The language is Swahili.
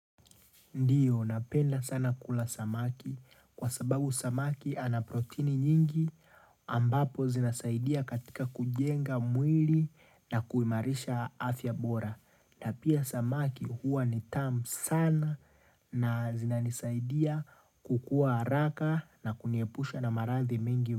Ndiyo, napenda sana kula samaki kwa sababu samaki ana protini nyingi ambapo zinasaidia katika kujenga mwili na kuimarisha afya bora. Na pia samaki huwa ni tam sana na zinanisaidia kukua haraka na kuniepusha na maradhi mingi.